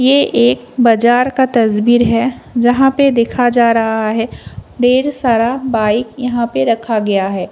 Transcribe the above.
ये एक बजार का तस्वीर है जहां पे देखा जा रहा है ढेर सारा बाइक यहां पे रखा गया है।